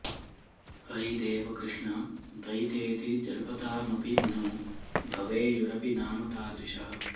अयि देव कृष्ण दयितेति जल्पतामपि नो भवेयुरपि नाम तादृशः